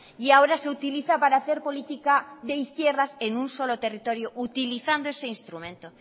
y ahora se utiliza para hacer política de izquierdas en un solo territorio utilizando ese instrumento